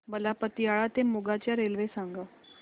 मला पतियाळा ते मोगा च्या रेल्वे सांगा